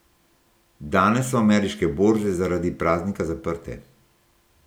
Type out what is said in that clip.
Danes so ameriške borze zaradi praznika zaprte.